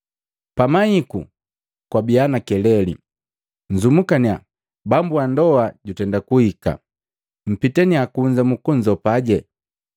“Pamaiku kwabiya na keleli, ‘Nzumukaniya, bambu ndoa jutenda kuhika!’ Mpitaniya kunza mukunzopaje.